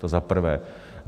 To za prvé.